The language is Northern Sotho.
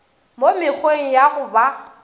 mo mekgweng ya go ba